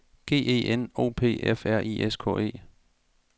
G E N O P F R I S K E